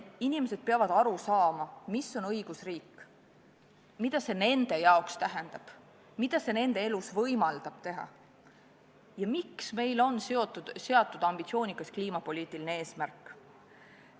Inimesed peavad aru saama, mis on õigusriik, mida see neile tähendab, mida see võimaldab nende elus teha ja miks on meil seatud ambitsioonikas kliimapoliitiline eesmärk.